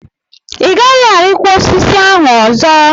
Ị gaghị arịkwa osisi ahụ ọzọ!